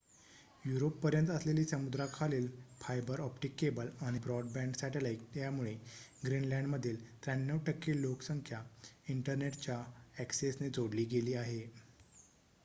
युरोपपर्यंत असलेली समुद्राखालील fibre optic cable आणि ब्रॉडबँड सॅटेलाइट यांमुळे ग्रीनलँडमधील ९३% लोकसंख्या इंटरनेटच्या अॅक्सेसने जोडली गेली आहे